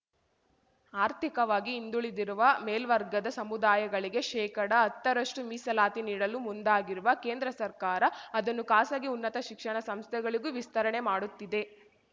ಆರ್ಥಿಕವಾಗಿ ಹಿಂದುಳಿದಿರುವ ಮೇಲ್ವರ್ಗದ ಸಮುದಾಯಗಳಿಗೆ ಶೇಕಡಹತ್ತರಷ್ಟುಮೀಸಲಾತಿ ನೀಡಲು ಮುಂದಾಗಿರುವ ಕೇಂದ್ರ ಸರ್ಕಾರ ಅದನ್ನು ಖಾಸಗಿ ಉನ್ನತ ಶಿಕ್ಷಣ ಸಂಸ್ಥೆಗಳಿಗೂ ವಿಸ್ತರಣೆ ಮಾಡುತ್ತಿದೆ